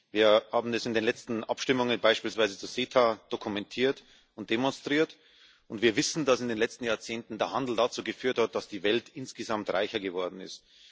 Wir haben das in den letzten Abstimmungen, beispielsweise zu CETA, dokumentiert und demonstriert, und wir wissen, dass in den letzten Jahrzehnten der Handel dazu geführt hat, dass die Welt insgesamt reicher geworden ist.